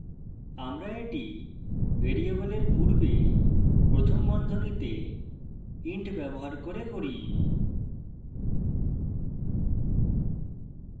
আমরা এটি ভ্যারিয়েবলের পূর্বে প্রথম বন্ধনীতে int ব্যবহার করে করি